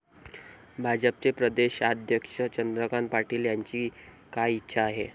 भाजपचे प्रदेशाध्यक्ष चंद्रकांत पाटील यांची काय इच्छा आहे?